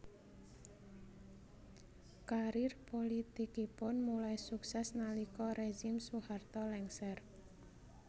Karier pulitikipun mulai sukses nalika rezim Soeharto lengser